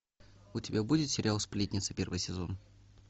у тебя будет сериал сплетница первый сезон